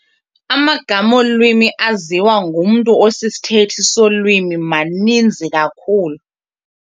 Amagama olwimi aziwa ngumntu osisithethi solwimi maninzi kakhulu.